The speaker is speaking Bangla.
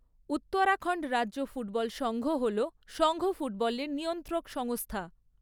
উত্তরাখণ্ড রাজ্য ফুটবল সঙ্ঘ হল সঙ্ঘ ফুটবলের নিয়ন্ত্রক সংস্থা।